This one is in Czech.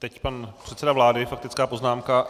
Teď pan předseda vlády, faktická poznámka.